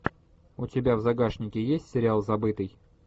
у тебя в загашнике есть сериал забытый